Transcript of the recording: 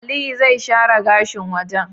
Aliyu zai share gashin wajan